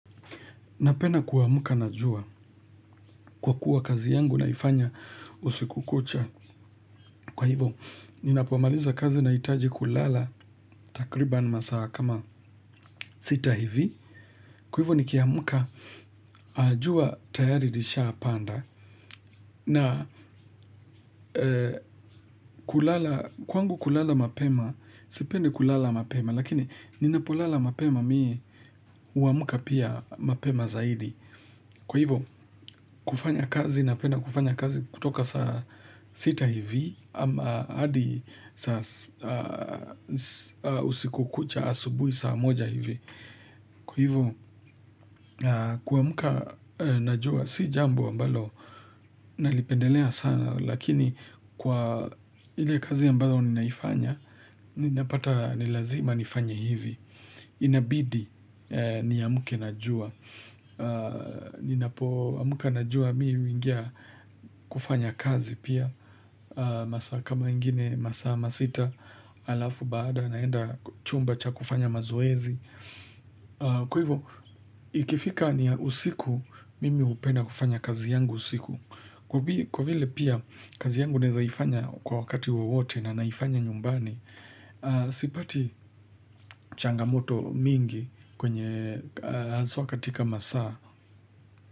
Napena kuamuka na jua. Kwa kuwa kazi yangu naifanya usiku kucha. Kwa hivo, ninapomaliza kazi naitaji kulala takriban masaa kama sita hivi. Kwa hivo, nikiamka a jua tayari lishapanda. Na kwangu kulala mapema, sipendi kulala mapema. Lakini ninapolala mapema mie huamuka pia mapema zaidi. Kwa hivyo kufanya kazi napenda kufanya kazi kutoka saa sita hivi ama hadi usiku kucha asubui saa moja hivi. Kwa hivyo kuamuka najua si jambo ambalo nalipendelea sana lakini kwa ile kazi ambayo ninaifanya ninapata ni lazima nifanye hivi. Inabidi niamke na jua. Ninapoamka na jua mii huingia kufanya kazi pia. Masaa kama ingine masaa masita alafu baada naenda chumba cha kufanya mazoezi. Kwa hivyo ikifika ni usiku mimi hupenda kufanya kazi yangu usiku. Kwa vile pia kazi yangu naezaifanya kwa wakati wawote na naifanya nyumbani. Sipati changamoto mingi kwenye haswa katika masaa.